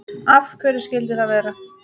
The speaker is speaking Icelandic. Af hverju skyldi það vera?